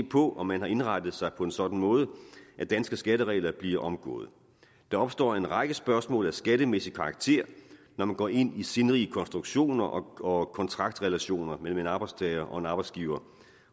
på om man har indrettet sig på en sådan måde at danske skatteregler bliver omgået der opstår en række spørgsmål af skattemæssig karakter når man går ind i sindrige konstruktioner og kontraktrelationer mellem en arbejdstager og en arbejdsgiver